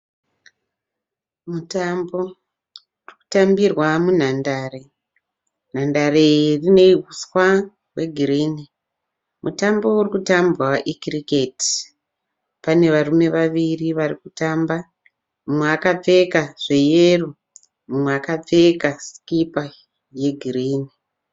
Mutambo unotambirwa munhandare. Nhandare iyi ine huswa hwegirinhi. Mutambo urikutambwa icricket. Pane varume vaviri varikutamba. Mumwe akapfeka zveyero mumwe akapfeka sikipa yegirinhi